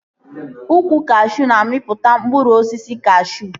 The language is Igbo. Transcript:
Ukwu kashuu na-amịpụta mkpụrụ osisi kashuu